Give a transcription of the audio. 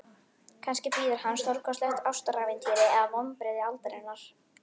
Kannski bíður hans stórkostlegt ástarævintýri eða vonbrigði aldarinnar.